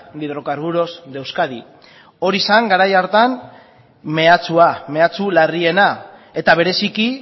de hidrocarburos de euskadi hori zen garai hartan mehatxua mehatxu larriena eta bereziki